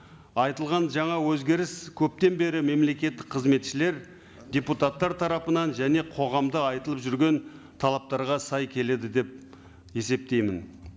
айтылған жаңа өзгеріс көптен бері мемлекеттік қызметшілер депутаттар тарапынан және қоғамда айтылып жүрген талаптарға сай келеді деп есептеймін